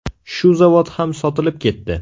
Shu zavod ham sotilib ketdi.